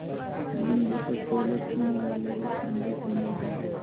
बिंदु पर सोलह स्तंभों वाला एक मंडप बना है